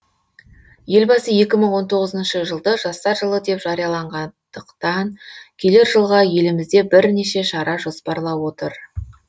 елбасы екі мың он тоғызыншы жылды жастар жылы деп жарияланғандықтан келер жылға елімізде бірнеше шара жоспарлап отыр